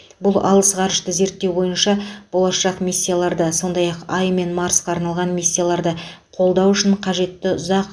бұл алыс ғарышты зерттеу бойынша болашақ миссияларды сондай ақ ай мен марсқа арналған миссияларды қолдау үшін қажетті ұзақ